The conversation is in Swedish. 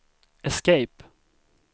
escape